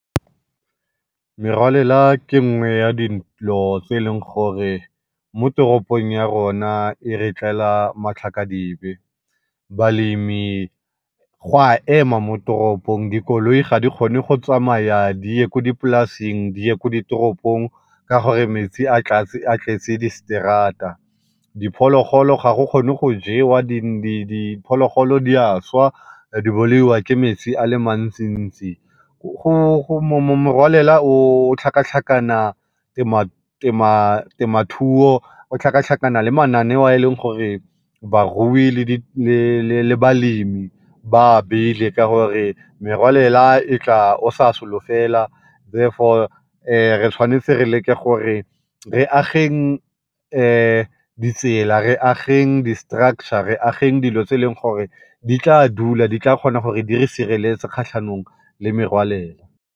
Merwalela ke nngwe ya dilo tse e leng gore mo teropong ya rona e re tlela matlakadibe. Balemi go a ema mo teropong, dikoloi ga di kgone go tsamaya di ye ko dipolaseng, di ye ko ditoropong ka gore metsi a tletse di straat-a. Diphologolo ga go kgone go jewa diphologolo di a swa di bolaiwa ke metsi a le mantsi-ntsi. Morwalela o, o tlhakatlhakana temathuo, o tlhakatlhakana le mananeo a e leng gore barui le balemi ba a beile ka gore merwalela e tla o sa solofela therefore re tshwanetse re leke gore re ageng ditsela, re ageng di-structure, re ageng dilo tse e leng gore di tla dula, di tla kgona gore di re sireletse kgatlhanong le merwalela